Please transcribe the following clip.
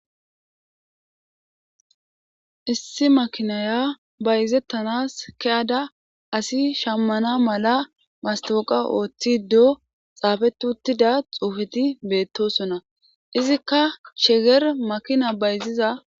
Issi makinaya bayzettanas keyada asi shammana mala mastooqa ooththido xaafeti uttida xuufeti beettosonna izikka sheger makina bayziza.